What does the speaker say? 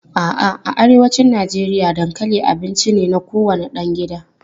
A'a, a arewacin Najeriya dankali abinci ne na kowane ɗan gida.